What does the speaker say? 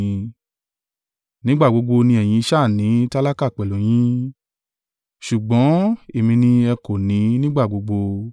Nígbà gbogbo ni ẹ̀yin sá à ní tálákà pẹ̀lú yín; ṣùgbọ́n èmi ni ẹ kò ní nígbà gbogbo.”